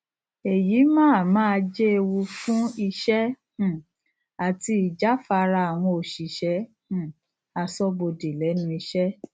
èyí máa máa jẹ ewu fún iṣẹ um àti ijafara àwọn òṣìṣẹ um asọbode lẹnu ìṣẹ